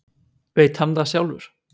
Veit hann það sjálfur?